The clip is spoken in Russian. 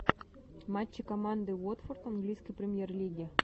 матчи команды уотфорд английской премьер лиги